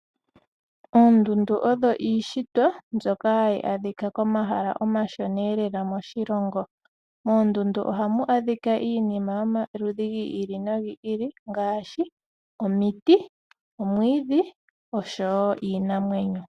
Oondundu odho iishitwa mbyoka hayi adhika komahala omashoneelela moshilongo. Moondundu ohamu adhika iinima yomaludhi gi ili nogi ili ngaashi omiti, omwiidhi osho wo iinamwenyo.